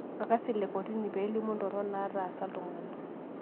Orkasi le kotini peelimu indorok naatasa iltungani